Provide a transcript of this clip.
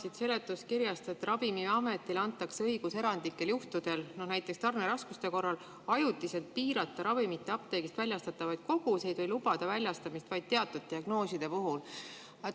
Loen seletuskirjast, et Ravimiametile antakse õigus erandlikel juhtudel, näiteks tarneraskuste korral, ajutiselt piirata ravimite apteegist väljastatavaid koguseid või lubada väljastamist vaid teatud diagnooside puhul.